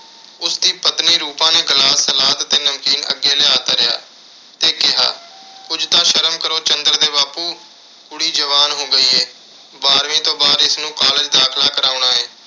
ਉਸਦੀ ਪਤਨੀ ਰੂਪਾ ਨੇ glass, salad ਤੇ ਨਮਕੀਨ ਅੱਗੇ ਲਿਆ ਧਰਿਆ। ਤੇ ਕਿਹਾ ਕੁਝ ਤਾਂ ਸ਼ਰਮ ਕਰੋ। ਚੰਦਰ ਦੇ ਬਾਪੂ, ਕੁੜੀ ਜਵਾਨ ਹੋ ਗਈ ਏ। ਬਾਰ੍ਹਵੀਂ ਤੋਂ ਬਾਅਦ ਇਸਨੂੰ college ਦਾਖਲਾ ਕਰਾਉਣਾ ਏ।